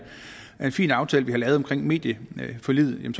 fin aftale vi har lavet om medieforliget